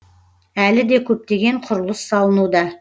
әлі де көптеген құрылыс салынуда